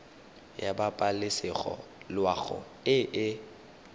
ya pabalesego loago e e